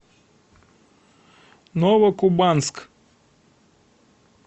новокубанск